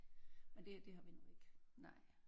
Men det det har vi nu ikke